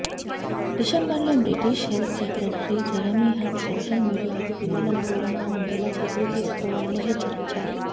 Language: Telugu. డిసెంబర్ లో British health secretary Jeremy Hunt social మీడియాకు పిల్లలను దూరంగా ఉండేలా చర్యలు తీసుకోవాలని హెచ్చరించారు